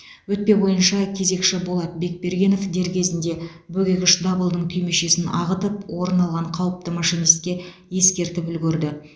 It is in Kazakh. өтпе бойынша кезекші болат бекбергенов дер кезінде бөгегіш дабылының түймешесін ағытып орын алған қауіпті машинистке ескертіп үлгерді